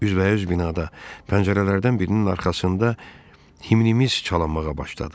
Üzbəüz binada pəncərələrdən birinin arxasında himnimiz çalınmağa başladı.